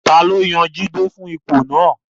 Taló yan Jide fún ipò náà?